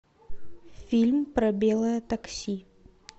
фильм про белое такси